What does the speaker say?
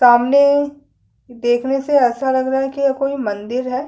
सामने देखने से ऐसा लग रहा है की कोई मंदिर है।।